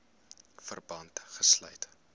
verband gesluit